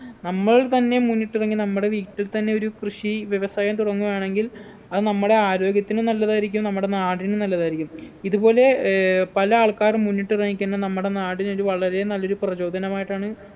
നമ്മൾ തന്നെ മുന്നിട്ടിറങ്ങി നമ്മുടെ വീട്ടിൽത്തന്നെ ഒരു കൃഷി വ്യവസായം തുടങ്ങുവാണെങ്കിൽ അത് നമ്മുടെ ആരോഗ്യത്തിനും നല്ലതായിരിക്കും നമ്മുടെ നാടിനും നല്ലതായിരിക്കും ഇതുപോലെ ഏർ പല ആൾക്കാരും മുന്നിട്ടിറങ്ങി കഴിഞ്ഞാ നമ്മുടെ നാടിനൊരു വളരെ നല്ലൊരു പ്രചോദനമായിട്ടാണ്